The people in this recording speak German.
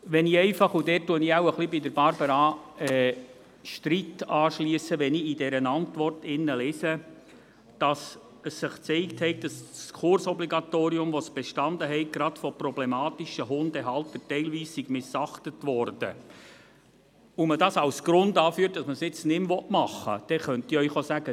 Wenn ich einfach in dieser Antwort lese – und dort schliesse ich mich wohl ein wenig Barbara Streit an –, dass sich gezeigt habe, dass das Kursobligatorium, das bestanden habe, gerade von problematischen Hundehaltern teilweise missachtet worden sei, und man dies als Grund anführt, dass man es jetzt nicht mehr machen will, dann könnte ich Ihnen auch sagen: